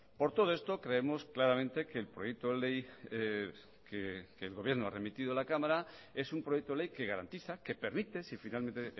por todo esto creemos claramente que el proyecto de ley que el gobierno ha remitido a la cámara es un proyecto de ley que garantiza que permite si finalmente